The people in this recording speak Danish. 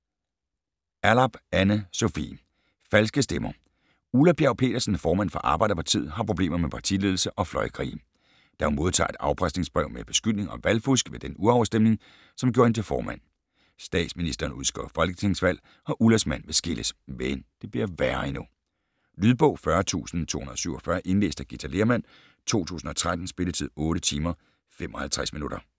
Allarp, Anne Sofie: Falske Stemmer Ulla Bjerg Petersen, formand for Arbejderpartiet, har problemer med partiledelse og fløjkrige, da hun modtager et afpresningsbrev med beskyldning om valgfusk ved den urafstemning, som gjorde hende til formand. Statsministeren udskriver folketingsvalg, og Ullas mand vil skilles. Men det bliver værre endnu. Lydbog 40247 Indlæst af Githa Lehrmann, 2013. Spilletid: 8 timer, 55 minutter.